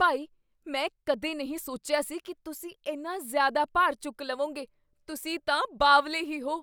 ਭਾਈ! ਮੈਂ ਕਦੇ ਨਹੀਂ ਸੋਚਿਆ ਸੀ ਕੀ ਤੁਸੀਂ ਇੰਨਾ ਜ਼ਿਆਦਾ ਭਾਰ ਚੁੱਕ ਲਵੋਂਗੇ, ਤੁਸੀਂ ਤਾਂ ਬਾਵਲੇ ਹੀ ਹੋ!!